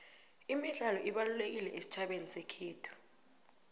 imidlalo ibalululekile esitjhabeni sekhethu